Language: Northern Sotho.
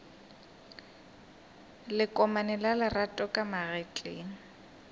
lekomane la lerato ka magetleng